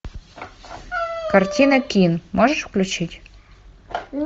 картина кин можешь включить